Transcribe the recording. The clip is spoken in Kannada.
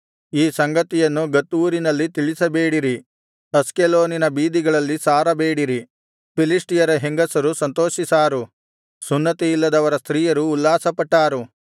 ಈ ಸಂಗತಿಯನ್ನು ಗತ್ ಊರಿನಲ್ಲಿ ತಿಳಿಸಬೇಡಿರಿ ಅಷ್ಕೆಲೋನಿನ ಬೀದಿಗಳಲ್ಲಿ ಸಾರಬೇಡಿರಿ ಫಿಲಿಷ್ಟಿಯರ ಹೆಂಗಸರು ಸಂತೋಷಿಸಾರು ಸುನ್ನತಿಯಿಲ್ಲದವರ ಸ್ತ್ರೀಯರು ಉಲ್ಲಾಸಪಟ್ಟಾರು